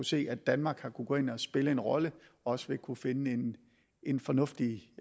se at danmark har kunnet gå ind og spille en rolle også vil kunne finde en fornuftig